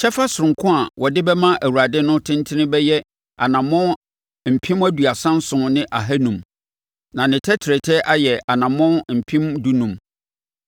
“Kyɛfa sononko a wode bɛma Awurade no tentene bɛyɛ anammɔn mpem aduasa nson ne ahanum (37,500). Na ne tɛtrɛtɛ ayɛ anammɔn mpem dunum (15,000).